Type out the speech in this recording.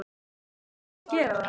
Verð ég ekki að gera það?